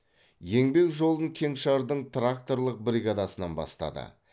еңбек жолын кеңшардың тракторлық бригадасынан бастады